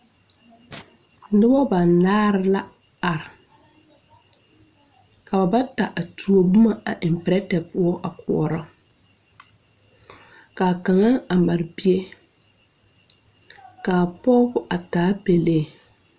Nobɔ banaare la are ka ba bata a tuo boma a eŋ pirɛte poɔ a koɔrɔ kaa kaŋa a mare bie kaa pɔg a taa pɛlee.